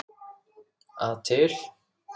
að til.